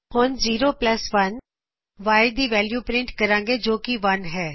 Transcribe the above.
ਹੁਣ 01 Y ਦੀ value print ਕਰਾਗੇ ਜੋ ਕੀ 1 ਹੈ